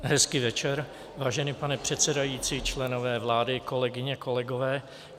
Hezký večer, vážený pane předsedající, členové vlády, kolegyně, kolegové.